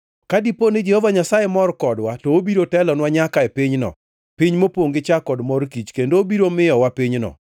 Ka dipo ni Jehova Nyasaye mor kodwa, to obiro telonwa nyaka e pinyno, piny mopongʼ gi chak kod mor kich, kendo obiro miyowa pinyno.